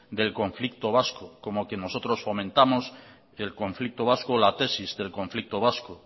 del conflicto vasco como que nosotros fomentamos el conflicto vasco la tesis del conflicto vasco